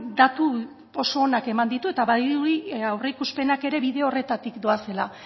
datu oso onak eman ditu eta badirudi aurreikuspenak ere bide horretatik doazela